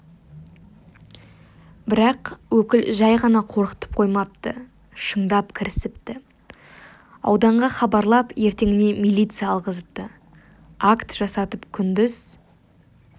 бірақ өкіл жай ғана қорқытып қоймапты шындап кірісіпті ауданға хабарлап ертеңіне милиция алғызыпты акт жасатып күндіз